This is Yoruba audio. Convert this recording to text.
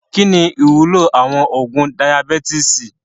Kí ni ìwúlò àwọn oògùn Dayabítìsì?